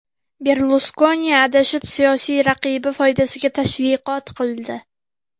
Berluskoni adashib siyosiy raqibi foydasiga tashviqot qildi.